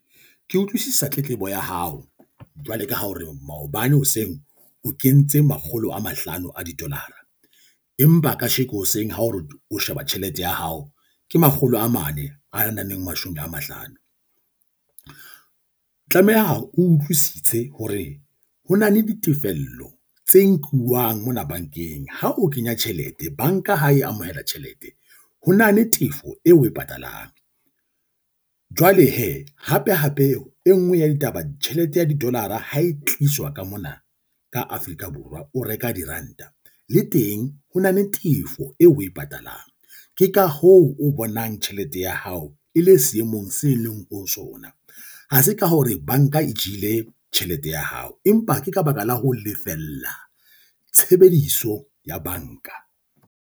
Ke utlwisisa tletlebo ya hao jwale ka hore maobane hoseng o kentse makgolo a mahlano a di-dollar-a empa a kasheko hoseng ha o re o sheba tjhelete ya hao ke makgolo a mane a nang le mashome a mahlano. O tlameha o utlwisise hore ho na le ditefello tse nkuwang mona bankeng. Ha o kenya tjhelete, banka ha e amohela tjhelete, ho na le tefo eo o e patalang. Jwale hee hape hape e nngwe ya ditaba tjhelete ya didolara ho e tliswa ka mona ka Afrika Borwa, o reka diranta le teng ho na le tefo eo o e patalang. Ke ka hoo o bonang tjhelete ya hao e le seemong se leng ho sona. Ha se ka hore banka e jele tjhelete ya hao, empa ke ka baka la ho lefella tshebediso ya banka.